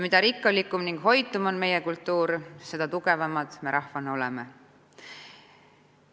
Mida rikkalikum ning hoitum on meie kultuur, seda tugevamad me rahvana oleme.